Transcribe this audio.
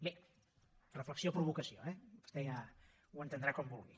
bé reflexió provocació eh vostè ja ho entendrà com vulgui